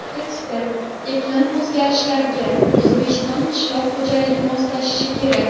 Ekspert: Iqlim o‘zgarishlariga O‘zbekiston qishloq xo‘jaligi moslashishi kerak.